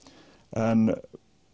en